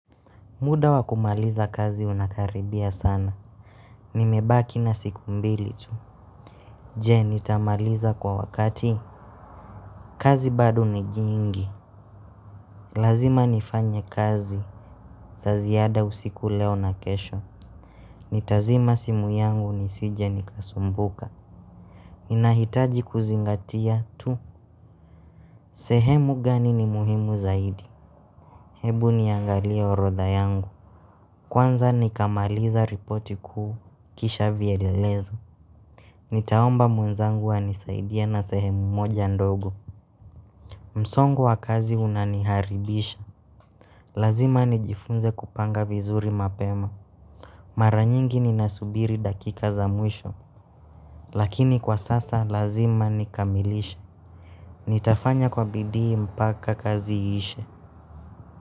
Muda wakumaliza kazi unakaribia sana. Nimebaki na siku mbili tu. Je, nitamaliza kwa wakati. Kazi bado ni jingi. Lazima nifanye kazi. Za ziada usiku leo na kesho. Nitazima simu yangu nisije nikasumbuka. Ninahitaji kuzingatia tu. Sehemu gani ni muhimu zaidi. Hebu niangalia orodha yangu. Kwanza nikamaliza ripoti kuu kisha vyelelezo. Nitaomba mwenzangu anisaidie na sehemu moja ndogo. Msongo wa kazi unaniharibisha. Lazima nijifunze kupanga vizuri mapema. Mara nyingi ni nasubiri dakika za mwisho. Lakini kwa sasa lazima nikamilishe. Nitafanya kwa bidii mpaka kazi iishe.